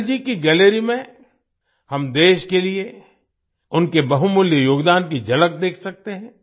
अटल जी की गैलरी में हम देश के लिए उनके बहुमूल्य योगदान की झलक देख सकते हैं